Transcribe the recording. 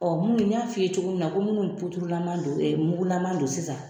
Ɔ mun y'a f'i ye cogo min na ko minnu pudurulama don e mugulama don sisan